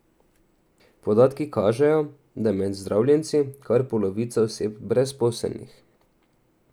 Podatki kažejo, da je med zdravljenci kar polovica oseb brezposelnih.